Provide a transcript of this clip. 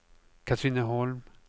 Katrineholm